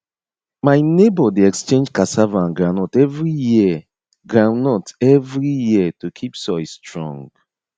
my neighbour dey exchange cassava and groundnut every year groundnut every year to keep soil strong